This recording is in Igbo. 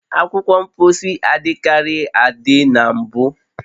Akwụkwọ mposi adịkarịghị adị na mbụ